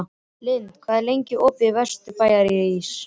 Lynd, hvað er lengi opið í Vesturbæjarís?